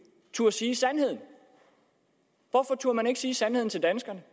turde sige sandheden hvorfor turde man ikke sige sandheden til danskerne